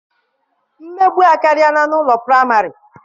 Mmegbu akarịala n'ụlọ praịmarị.